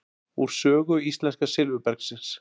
Úr sögu íslenska silfurbergsins.